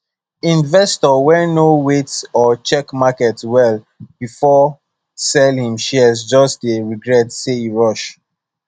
investor wey no wait or check market well before sell him shares just dey regret say e rush